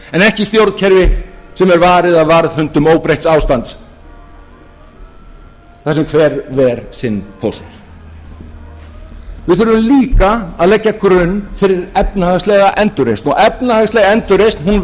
ekki stjórnkerfi sem er varið af varðhundum óbreytts ástands þar sem hver ver sinn póst við þurfum líka að leggja grunn fyrir efnahagslega endurreisn og efnahagsleg endurreisn hún